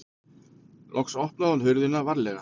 Loks opnaði hún hurðina varlega.